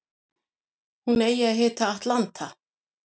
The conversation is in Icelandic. Hún eigi að heita Atlanta